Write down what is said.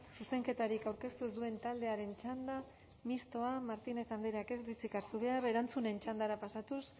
zuzenketarik aurkeztu ez duen taldearen txanda mistoa martínez andreak ez du hitzik hartu behar erantzunen txandara pasatuz